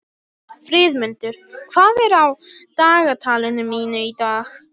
Friðmundur, hvað er á dagatalinu mínu í dag?